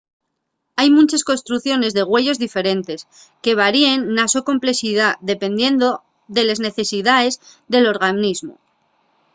hai munches construcciones de güeyos diferentes que varien na so complexidá dependiendo de les necesidaes del organismu